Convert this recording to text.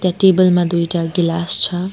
Table मा दुईटा गिलास छ।